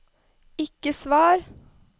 ikke svar